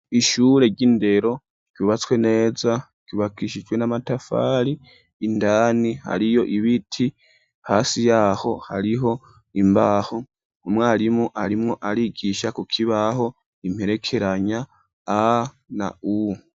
Ishure ry'indero ryubatswe neza ryubakishijwe n'amatafari ,indani hariyo ibiti, hasi yaho hariho imbaho, umwarimu arimwo arigisha kukibaho imperekeranya a na u.